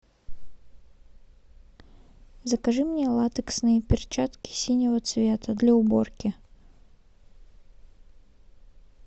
закажи мне латексные перчатки синего цвета для уборки